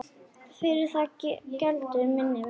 Fyrir það geldur minni mitt.